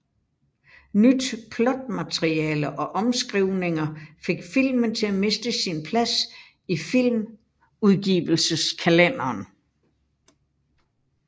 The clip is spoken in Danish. Nyt plotmateriale og omskrivninger fik filmen til at miste sin plads i filmudgivelseskalenderen